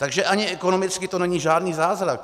Takže ani ekonomicky to není žádný zázrak.